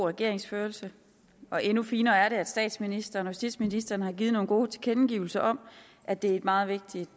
regeringsførelse og endnu finere er det at statsministeren og justitsministeren har givet nogle gode tilkendegivelser om at det er et meget vigtigt